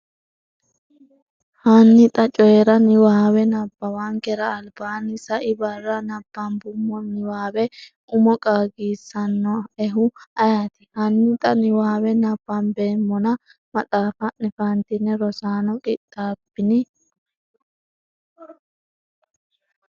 Hanni xa Coyi’ra niwaawe nabbawankera albaanni sai barra nabbambummo niwaawe umo qaagisannoehu ayeeti? hanni xa niwaawe nabbambeemmona maxaafa’ne fantine Rosaano qixxaabbini?